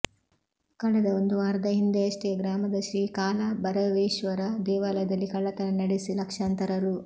ಕಳೆದ ಒಂದು ವಾರದ ಹಿಂದೆಯಷ್ಟೇ ಗ್ರಾಮದ ಶ್ರೀ ಕಾಲಭೆರ ವೇಶ್ವರ ದೇವಾಲಯದಲ್ಲಿ ಕಳ್ಳತನ ನಡೆಸಿ ಲಕ್ಷಾಂತರ ರೂ